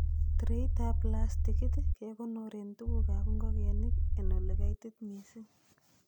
Traitab plastikit kekonoren tuguk ab ingogenik en ele kaitit missing.